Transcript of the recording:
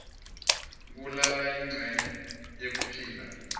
kulala yincenye yekuphila